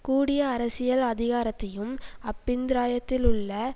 கூடிய அரசியல் அதிகாரத்தையும் அப்பிந்திராயத்திலுள்ள